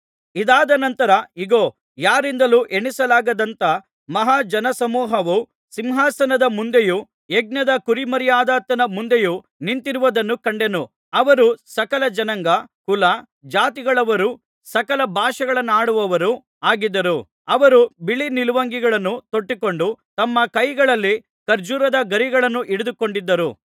ಇದಾದ ನಂತರ ಇಗೋ ಯಾರಿಂದಲೂ ಎಣಿಸಲಾಗದಂಥ ಮಹಾ ಜನಸಮೂಹವು ಸಿಂಹಾಸನದ ಮುಂದೆಯೂ ಯಜ್ಞದ ಕುರಿಮರಿಯಾದಾತನ ಮುಂದೆಯೂ ನಿಂತಿರುವುದನ್ನು ಕಂಡೆನು ಅವರು ಸಕಲ ಜನಾಂಗ ಕುಲ ಜಾತಿಗಳವರೂ ಸಕಲ ಭಾಷೆಗಳನ್ನಾಡುವವರೂ ಆಗಿದ್ದರು ಅವರು ಬಿಳೀ ನಿಲುವಂಗಿಗಳನ್ನು ತೊಟ್ಟುಕೊಂಡು ತಮ್ಮ ಕೈಗಳಲ್ಲಿ ಖರ್ಜೂರದ ಗರಿಗಳನ್ನು ಹಿಡಿದುಕೊಂಡಿದ್ದರು